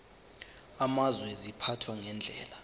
amazwe ziphathwa ngendlela